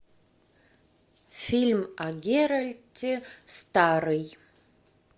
фильм о геральте старый